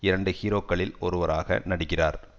இரண்டு ஹீரோக்களில் ஒருவராக நடிக்கிறார்